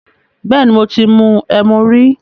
Bẹ́ẹ̀ni, mo ti mu ẹmu rí.